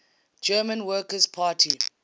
german workers party